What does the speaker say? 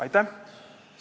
Aitäh!